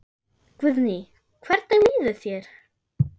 Guðný: Hvernig líður þér?